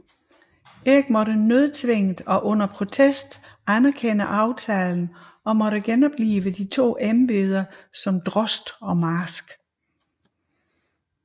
Erik måtte nødtvunget og under protest anerkende aftalen og måtte genoplive de to embeder som drost og marsk